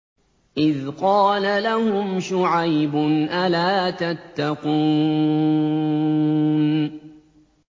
إِذْ قَالَ لَهُمْ شُعَيْبٌ أَلَا تَتَّقُونَ